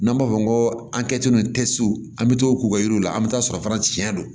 N'an b'a fɔ ko an kɛ tun tɛ se u bɛ to k'u ka yiriw la an bɛ t'a sɔrɔ fana tiɲɛ don